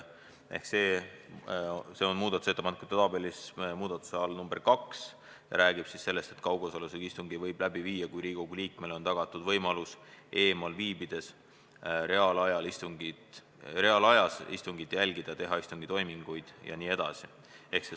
See on muudatusettepanekute tabelis muudatuse nr 2 all ja räägib sellest, et kaugosalusega istungi võib läbi viia, kui Riigikogu liikmele on tagatud võimalus eemal viibides reaalajas istungit jälgida, teha istungitoiminguid jne.